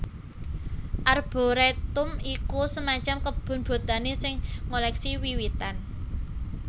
Arboretum iku semacam kebun botani sing ngoleksi wiwitan